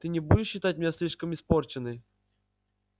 ты не будешь считать меня слишком испорченной